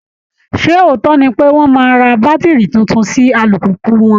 Ṣé òótọ́ ni pé wọ́n máa ra bátìrì tuntun sí alùpùpù wọn?